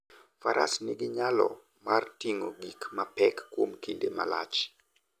Faras nigi nyalo mar ting'o gik mapek kuom kinde malach.